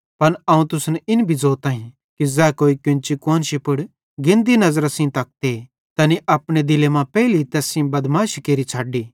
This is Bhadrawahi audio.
पन अवं तुसन इन भी ज़ोताईं कि ज़ै कोई केन्ची कुआन्शी पुड़ गेन्दी नज़रां सेइं तकते तैनी अपने दिले मां पेइली तैस सेइं बदमाशी केरि छ़ड्डी